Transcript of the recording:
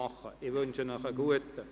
Ich wünsche Ihnen einen guten Appetit.